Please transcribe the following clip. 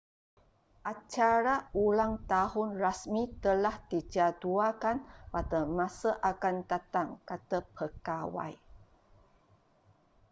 acara ulang tahun rasmi telah dijadualkan pada masa akan datang kata pegawai